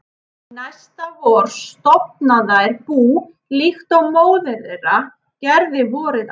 Næsta vor stofna þær bú líkt og móðir þeirra gerði vorið áður.